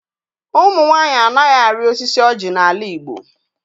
Ụmụ nwaanyị anaghị arị osisi ọjị n'ala Igbo.